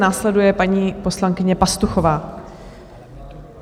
Následuje paní poslankyně Pastuchová.